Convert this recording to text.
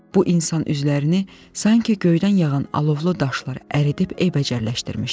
Bu insan üzlərini sanki göydən yağan alovlu daşlar əridib ebəcərləşdirmişdi.